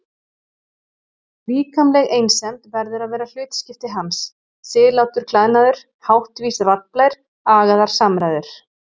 Líkamleg einsemd verður að vera hlutskipti hans, siðlátur klæðnaður, háttvís raddblær, agaðar samræður.